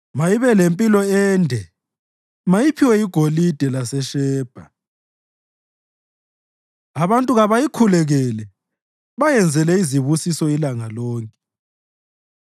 Mayibe lempilo ende! Mayiphiwe igolide laseShebha. Abantu kabayikhulekele bayenzele izibusiso ilanga lonke.